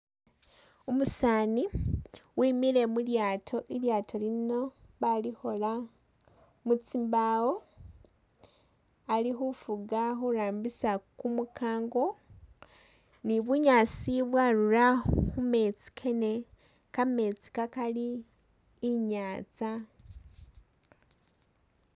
Umusaani wimile mu lyaato, ilyaato lino bali khola mu tsimbawo, ali khufuga khurambisa kumukango ni bunyaasi bwarura khu metsi kene, kametsi kakali inyatsa